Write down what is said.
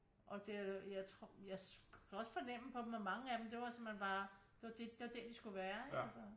Og det jeg tror jeg kan også fornemme på dem at mange af dem det var simpelthen bare det var det der de skulle være ikke altså